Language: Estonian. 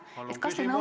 Palun küsimus!